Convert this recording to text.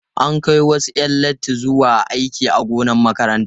An kai wasu 'yan latti zuwa aiki a gonar makarantar.